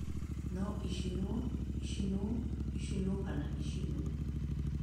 No ĩcinwo, ĩcinwo, ĩcinwo kana ĩcinwo.